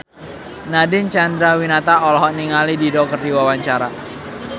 Nadine Chandrawinata olohok ningali Dido keur diwawancara